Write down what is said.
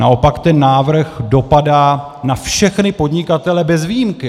Naopak ten návrh dopadá na všechny podnikatele bez výjimky.